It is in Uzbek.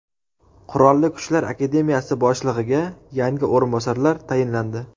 Qurolli Kuchlar akademiyasi boshlig‘iga yangi o‘rinbosarlar tayinlandi.